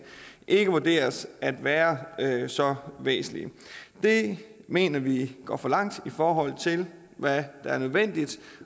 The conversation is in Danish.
ikke vurderes at være så væsentlige det mener vi går for langt i forhold til hvad der er nødvendigt